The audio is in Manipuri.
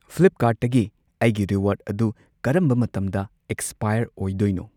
ꯐ꯭ꯂꯤꯞꯀꯥꯔꯠꯇꯒꯤ ꯑꯩꯒꯤ ꯔꯤꯋꯥꯔꯗ ꯑꯗꯨ ꯀꯔꯝꯕ ꯃꯇꯝꯗ ꯑꯦꯛꯁ꯭ꯄꯥꯏꯌꯔ ꯑꯣꯏꯗꯣꯏꯅꯣ?